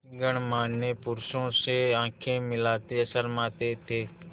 गणमान्य पुरुषों से आँखें मिलाते शर्माते थे